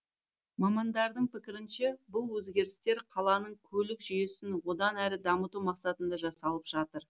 мамандардың пікірінше бұл өзгерістер қаланың көлік жүйесін одан әрі дамыту мақсатында жасалып жатыр